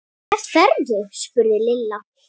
Hvert ferðu? spurði Lilla.